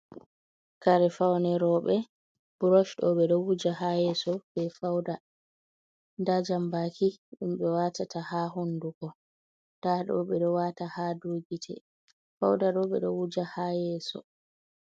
Kare faune roɓe burosh ɗo ɓeɗo wuja ha yeso be fawda nda jambaki ɗum ɓewatata ha hunduko, nda ɗo ɓeɗo wata ha gite. fawda ɗo ɓeɗo wuja ha yeso.